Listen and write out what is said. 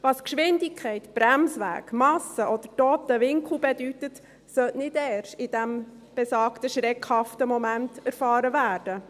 Was Geschwindigkeit, Bremsweg, Masse oder toter Winkel bedeuten, sollte nicht erst in diesem besagten schreckhaften Moment erfahren werden.